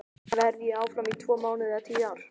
Verð ég áfram í tvo mánuði eða tíu ár?